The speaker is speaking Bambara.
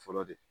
Fɔlɔ de